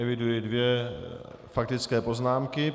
Eviduji dvě faktické poznámky.